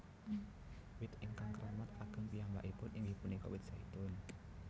Wit ingkang keramat kagem piyambakipun inggih punika wit zaitun